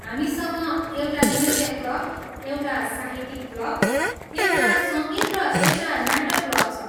हामीसँग एउटा नृत्य क्लब, एउटा साहित्यिक क्लब, एउटा सङ्गीत र एउटा नाटक क्लब छ।